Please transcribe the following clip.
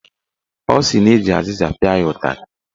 Ọ sị na eji azịza pịa ya ụtarị.